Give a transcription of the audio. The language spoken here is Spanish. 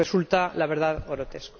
Resulta, la verdad, grotesco.